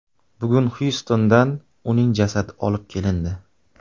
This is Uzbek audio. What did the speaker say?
Bugun Xyustondan uning jasadi olib kelindi.